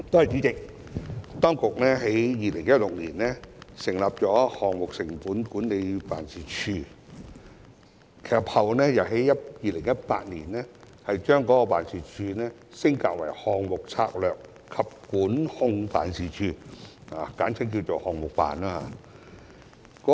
主席，當局在2016年成立項目成本管理辦事處，其後並於2018年把該辦事處升格，成為項目策略及管控辦事處，簡稱"項目辦"。